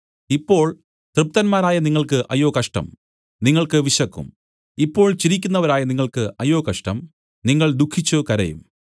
ഇപ്പോൾ തൃപ്തന്മാരായ നിങ്ങൾക്ക് അയ്യോ കഷ്ടം നിങ്ങൾക്ക് വിശക്കും ഇപ്പോൾ ചിരിക്കുന്നവരായ നിങ്ങൾക്ക് അയ്യോ കഷ്ടം നിങ്ങൾ ദുഃഖിച്ചു കരയും